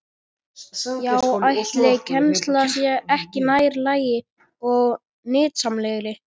Já, ætli kennslan sé ekki nær lagi og nytsamlegri?